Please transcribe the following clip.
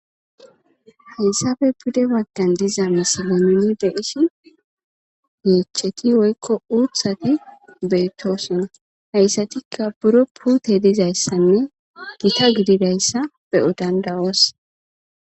Hayssappe pude baggan diza misilen nuni be'ishin,yeecheti woyko uuthati beetoosona. Bure puutey dizaysanne gita gididaysa be'o danda'oos.